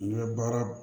N ka baara